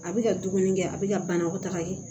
A bɛ ka dumuni kɛ a bɛ ka banakɔ taga kɛ